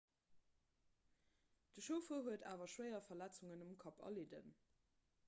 de chauffer huet awer schwéier verletzungen um kapp erlidden